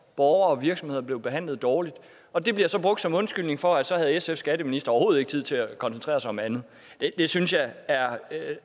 borgere og virksomheder blev behandlet dårligt og det bliver så brugt som undskyldning for at så havde sfs skatteminister overhovedet ikke tid til at koncentrere sig om andet det synes jeg er